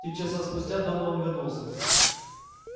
три часа спустя донован вернулся